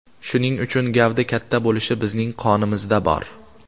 Shuning uchun gavda katta bo‘lishi bizning qonimizda bor.